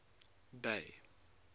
bay